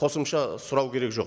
қосымша сұрау керек жоқ